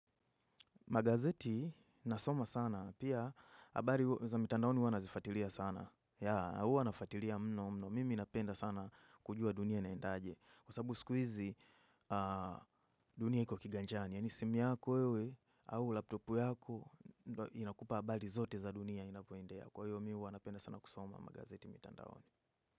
Magazeti nasoma sana. Pia, abari za mitandaoni huwa nazifatilia sana. Ya, huwa nafatilia mno mno. Mimi napenda sana kujua dunia naendaje. Kwa sababu sikuizi dunia iko kiganjani. Yani simu yako wewe au laptopu yako inakupa abari zote za dunia inapoendea. Kwa hiyo mi uwa napenda sana kusoma magazeti mitandaoni.